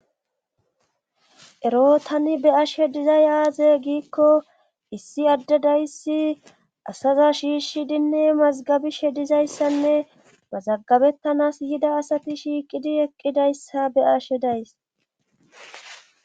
ero tani be'ashe dizay aaze giikko issi adde dayssi asaza shiishidinne mazagabishe dizayssanne mazagabettanas yida asati shiiqidi eqqidayssa be'ashe days